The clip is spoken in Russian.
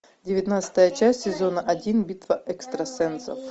девятнадцатая часть сезона один битва экстрасенсов